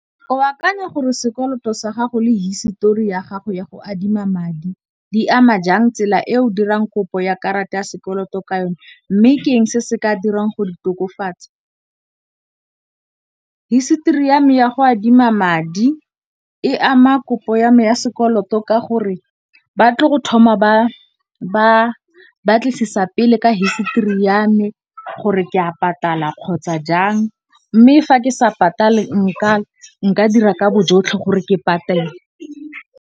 O akanya gore sekoloto sa gago le hisetori ya gago ya go adima madi, di ama jang tsela e o dirang kopo ya karata ya sekoloto ka yone, mme ke eng se se ka dirang go di tokofatsa. Hisetori ya me ya go adima madi e ama kopo ya me ya sekoloto ka gore ba tle go thoma ba batlisisa pele ka hisetori ya me gore ke a patala kgotsa jang. Mme fa ke sa patale nka dira ka bo jotlhe gore ke patele.